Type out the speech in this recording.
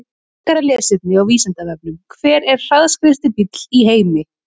Frekara lesefni á Vísindavefnum: Hver er hraðskreiðasti bíll í heimi?